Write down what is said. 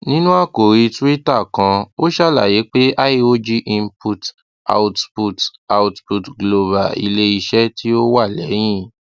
ninu akori twitter kan o ṣalaye pe iog input output output global ileiṣẹ ti o wa lẹhin